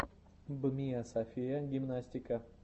бмиасофия гимнастика